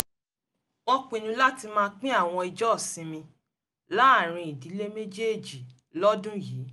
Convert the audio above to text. wọ́n pinnu láti máa pín àwọn ọjọ́ ìsinmi láàárín ìdílé méjèèjì lọ́dún yìí